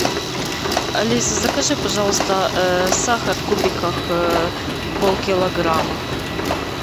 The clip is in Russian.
алиса закажи пожалуйста сахар в кубиках полкилограмма